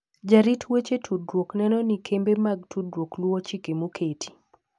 Jarit weche tudruok neno ni kembe mag tudruok luwo chike moketi.